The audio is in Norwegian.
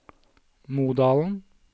Modalen